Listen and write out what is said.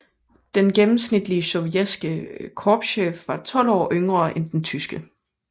Den gennemsnitlige sovjetiske korpschef var 12 år yngre end den tyske